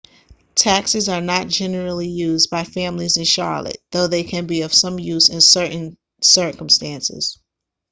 taxis are not generally used by families in charlotte though they can be of some use in certain circumstances